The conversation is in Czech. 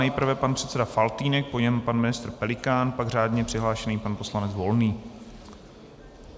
Nejprve pan předseda Faltýnek, po něm pan ministr Pelikán, pak řádně přihlášený pan poslanec Volný.